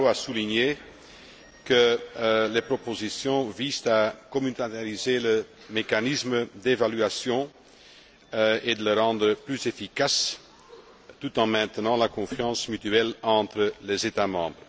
Barrot, a souligné que les propositions visent à communautariser le mécanisme d'évaluation et à le rendre plus efficace, tout en maintenant la confiance mutuelle entre les États membres.